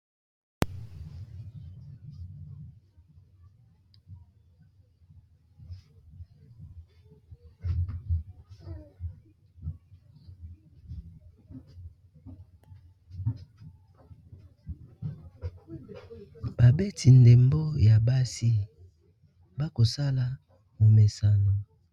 babeti ndembo ya basi bakosala komesana